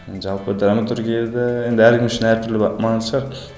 жалпы драматургияда енді әркім үшін әртүрлі маңызды шығар